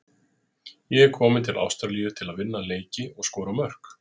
Ég er kominn til Ástralíu til að vinna leiki og skora mörk.